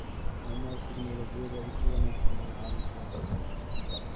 Isticmaalka tignoolajiyada si wanaagsan ayaa caawisa shaqada.